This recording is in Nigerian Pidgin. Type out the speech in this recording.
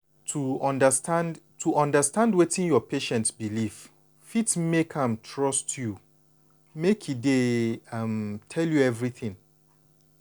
to understand to understand wetin your patient belief fit make am trust you make e dey um tell you everything.